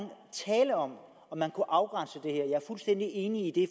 tale om om man kunne afgrænse det er fuldstændig enig i